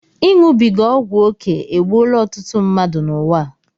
Iṅụbiga ọgwụ oké egbuola ọtụtụ mmadụ n'ụwa a